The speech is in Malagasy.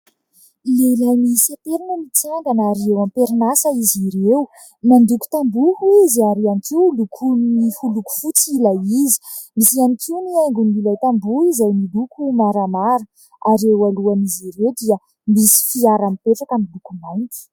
Lehilahy miisa telo no mitsangana ary eo am-perinasa izy ireo. Mandoko tamboho izy ary ihany koa lokoiny ho loko fotsy ilay izy. Misy ihany koa ny haingon'ilay tamboho izay miloko maramara ary eo alohan'izy ireo dia misy fiara mipetraka miloko mainty.